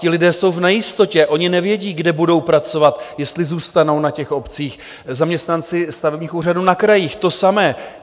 Ti lidé jsou v nejistotě, oni nevědí, kde budou pracovat, jestli zůstanou na těch obcích, zaměstnanci stavebních úřadů na krajích to samé.